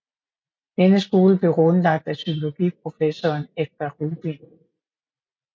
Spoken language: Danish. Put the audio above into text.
Denne skole blev grundlagt af psykologiprofessoren Edgar Rubin